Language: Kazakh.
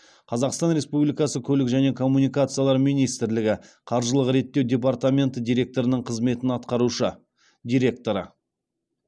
қазақстан республикасы көлік және коммуникациялар министрлігі қаржылық реттеу департаменті директорының қызметін атқарушы директоры